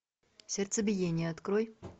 сердцебиение открой